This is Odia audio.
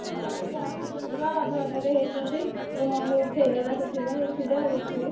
ହଁ ଏଇ ଆସୁଛନ୍ତି ବା ଅଧ ବାଟରେ ହେଇଛନ୍ତି। ମୋ mummy ଉଠେଇଦେଲା ସେଥିପାଇଁ ଉଠିଯା ଦେଖିବୁ।